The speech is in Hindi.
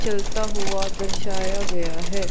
चलता हुआ दर्शाया गया है।